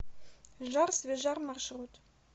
жар свежар маршрут